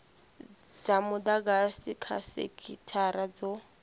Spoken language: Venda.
dza mudagasi kha sekithara dzo